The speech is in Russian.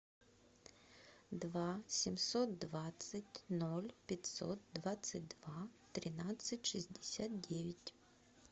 два семьсот двадцать ноль пятьсот двадцать два тринадцать шестьдесят девять